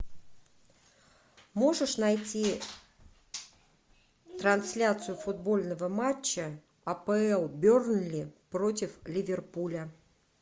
можешь найти трансляцию футбольного матча апл бернли против ливерпуля